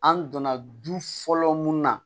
An donna du fɔlɔ mun na